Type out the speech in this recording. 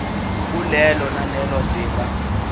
kulelo nalelo zinga